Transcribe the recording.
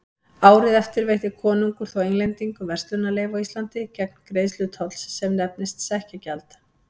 Árið eftir veitti konungur þó Englendingum verslunarleyfi á Íslandi gegn greiðslu tolls sem nefndist sekkjagjald.